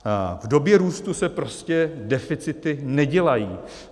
V době růstu se prostě deficity nedělají.